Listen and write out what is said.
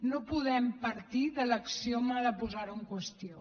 no podem partir de l’axioma de posar ho en qüestió